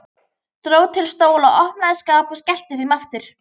Dró til stóla, opnaði skápa og skellti þeim aftur.